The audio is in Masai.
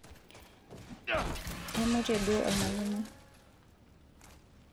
aimutie duo olmalimui